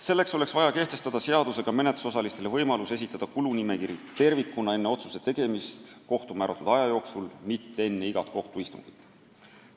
Selleks oleks vaja kehtestada seadusega menetlusosalistele võimalus esitada kulunimekiri tervikuna enne otsuse tegemist kohtu määratud aja jooksul, mitte enne igat kohtuistungit.